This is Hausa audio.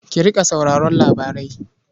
Ki riƙa sauraron labarai.